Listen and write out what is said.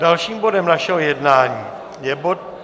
Dalším bodem našeho jednání je bod číslo